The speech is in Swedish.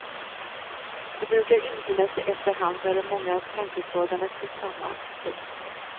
De brukar infinna sig efter hand när de många tanketrådarna knyts samman. punkt